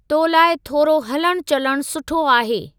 तो लाइ थोरो हलणु चलणु सुठो आहे।